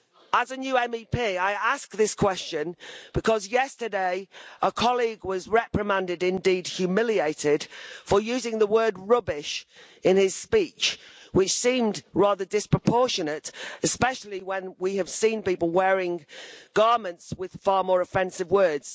As a new MEP, I ask this question because yesterday a colleague was reprimanded, indeed humiliated, for using the word rubbish' in his speech, which seemed rather disproportionate, especially when we have seen people wearing garments with far more offensive words.